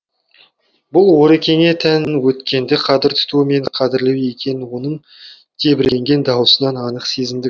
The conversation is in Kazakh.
бұл орекеңе тән өткенді қадір тұту мен қадірлеу екенін оның тебіренген дауысынан анық сезіндік